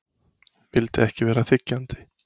Vildi ekki vera þiggjandi.